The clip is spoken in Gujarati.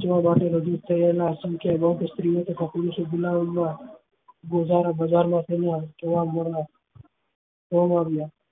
ત્યાં વેચવા અસંખ્ય બાદ સ્ત્રી ઓ તથા પુરુષો